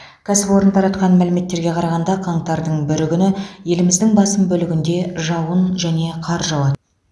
кәсіпорын таратқан мәліметтерге қарағанда қаңтардың бірінші күні еліміздің басым бөлігінде жауын және қар жауады